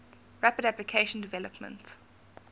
rapid application development